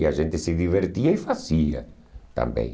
E a gente se divertia e fazia também.